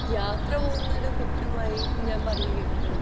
അല്ലെങ്കിൽ ഒരു യാത്ര പോകുന്നത് ഒരു കുറ്റമായി ഞാൻ പറഞ്ഞു കേട്ടിട്ടുണ്ട്